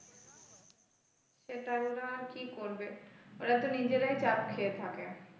সেটাই ওরা আর কি করবে ওরা তো নিজেরাই চাপ খেয়ে থাকে।